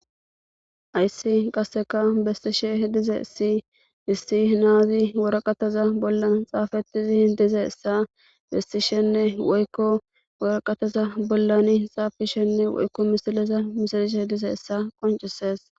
Hayssi qasseka besishe dizayssi issi na'azi waraqataza bollan xaafetidi dizayssa beesishenne woykko waraqataza bollani xaafishine woykko misileza misilishe dizayssa qoncises.